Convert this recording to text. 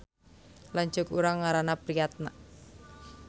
Lanceuk urang ngaranna Priatna